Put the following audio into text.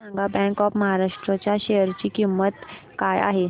मला सांगा bank of Maharashtra च्या शेअर ची किंमत काय आहे